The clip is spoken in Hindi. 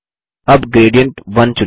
अब ग्रेडिएंट1 चुनें